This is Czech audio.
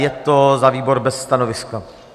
Je to za výbor bez stanoviska.